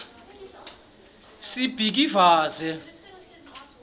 sibhikivaze